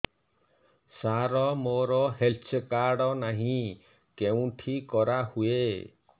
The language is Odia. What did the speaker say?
ସାର ମୋର ହେଲ୍ଥ କାର୍ଡ ନାହିଁ କେଉଁଠି କରା ହୁଏ